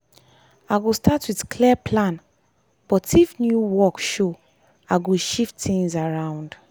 i go start with clear plan but if new work show i go shift things around.